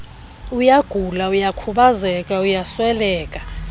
uyagula uyakhubazeka uyasweleka